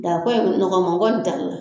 nɔgɔma kɔni tɛ.